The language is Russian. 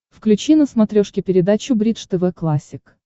включи на смотрешке передачу бридж тв классик